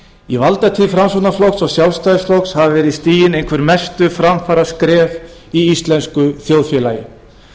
í valdatíð framsóknarflokks og sjálfstæðisflokks hafa verið stigin einhver mestu framfaraskref í íslensku þjóðfélagi